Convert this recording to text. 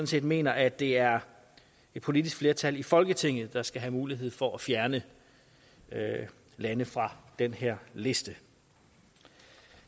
set mener at det er et politisk flertal i folketinget der skal have mulighed for at fjerne lande fra den her liste